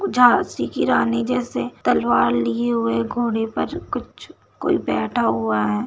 झाँसी की रानी जैसे तलवार लिए हुए घोड़े पर कुछ कोई बैठा हुआ है।